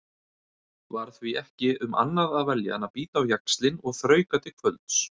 Var því ekki um annað að velja en bíta á jaxlinn og þrauka til kvölds.